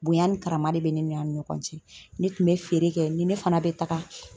Bonya ni karama de bɛ ne ni a ni ɲɔgɔn cɛ. Ne tun bɛ feere kɛ ni ne fana bɛ taga